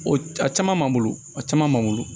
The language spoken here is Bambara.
O a caman m'an bolo a caman b'an bolo